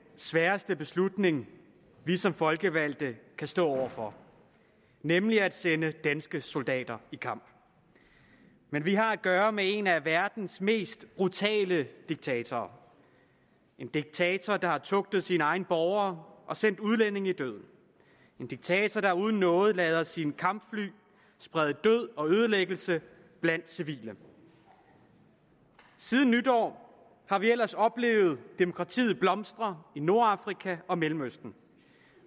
sværeste beslutning vi som folkevalgte kan stå over for nemlig at sende danske soldater i kamp men vi har at gøre med en af verdens mest brutale diktatorer en diktator der har tugtet sine egne borgere og sendt udlændinge i døden en diktator der uden nåde lader sine kampfly sprede død og ødelæggelse blandt civile siden nytår har vi ellers oplevet demokratiet blomstre i nordafrika og mellemøsten